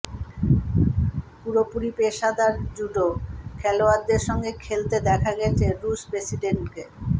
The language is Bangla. পুরোপুরি পেশাদার জুডো খেলোয়াড়দের সঙ্গে খেলতে দেখা গেছে রুশ প্রেসিডেন্টকে